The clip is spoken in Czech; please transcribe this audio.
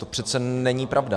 To přece není pravda.